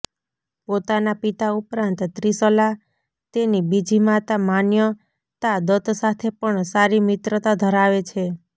પોતાના પિતા ઉપરાંત ત્રિશલા તેની બીજી માતા માન્યતા દત્ત સાથે પણ સારી મિત્રતા ધરાવે છે